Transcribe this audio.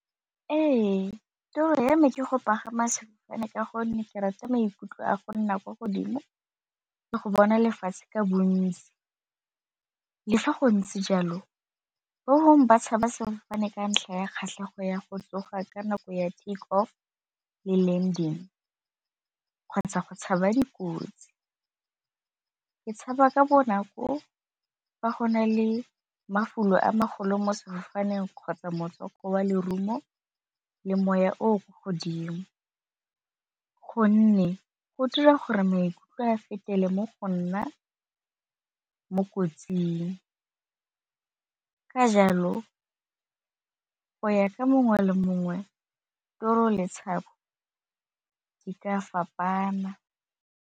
Ee, toro ya me ke go pagama sefofane ka gonne ke rata maikutlo a go nna kwa godimo le go bona lefatshe ka bontsi, le fa go ntse jalo bangwe ba tshaba sefofane ka ntlha ya kgatlhego ya go tsoga ka nako ya takeoff le landing kgotsa go tshaba dikotsi. Ke tshaba ka bonako fa go na le mafulo a magolo mo sefofaneng kgotsa wa lerumo le moya o o kwa godimo, gonne go dira gore maikutlo a fetele mo go nna mo kotsing ka jalo go ya ka mongwe le mongwe toro le tshabo di ka fapana.